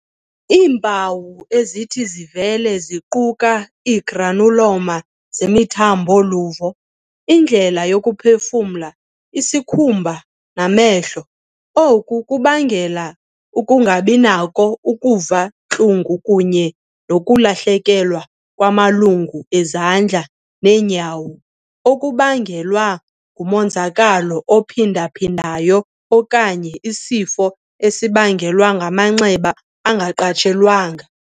Iimpawu ezithi zivele ziquka ii-granuloma zemithambo-luvo, indlela yokuphefumla, isikhumba, namehlo. . Oku kungabangela ukungabinakho ukuva intlungu kunye nokulahlekelwa ngamalungu ezandla neenyawo okubangelwa ngumonzakalo ophinda-phindayo okanye isifo esibangelwa ngamanxeba angaqatshelwanga.